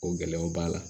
O gɛlɛyaw b'a la